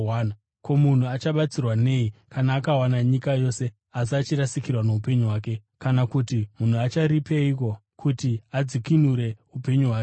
Ko, munhu achabatsirwa nei kana akawana nyika yose, asi achirasikirwa noupenyu hwake? Kana kuti munhu acharipeiko kuti adzikinure upenyu hwake?